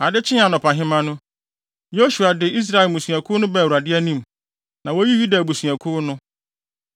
Ade kyee anɔpahema no, Yosua de Israel mmusuakuw no baa Awurade anim, na woyii Yuda abusuakuw no.